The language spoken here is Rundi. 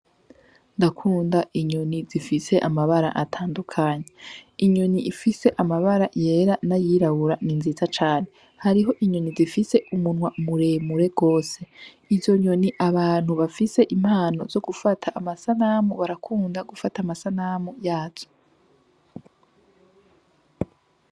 Ndakunda inyoni zifise amabara atandukanye .Inyoni ifise amabara yera n'ayirabura ni nziza cane , hariho Inyoni zifise umunwa muremure gose. Izo nyoni abantu bafise impano yo gufata amasanamu barakunda gufata amasanamu yazo .